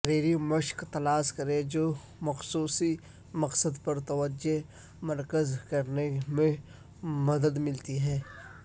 تحریری مشق تلاش کریں جو مخصوص مقصد پر توجہ مرکوز کرنے میں مدد ملتی ہے